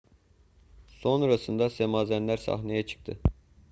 sonrasında semazenler sahneye çıktı